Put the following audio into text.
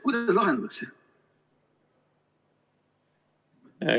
Kuidas see lahendatakse?